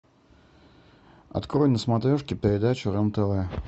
открой на смотрешке передачу рен тв